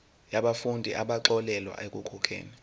yabafundi abaxolelwa ekukhokheni